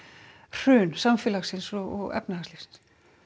hrun samfélagsins og efnahagslífsins